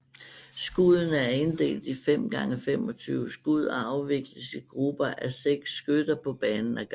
Skuddene er inddelt i 5 gange 25 skud og afvikles i grupper af seks skytter på banen ad gangen